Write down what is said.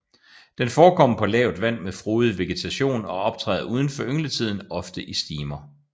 Den forekommer på lavt vand med frodig vegetation og optræder uden for yngletiden ofte i stimer